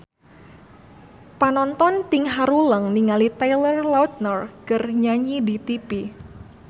Panonton ting haruleng ningali Taylor Lautner keur nyanyi di tipi